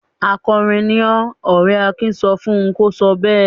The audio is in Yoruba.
"Akọrin ni ọ́!" Ọ̀rẹ́ Akin sọ fún un kó sọ bẹ́ẹ̀.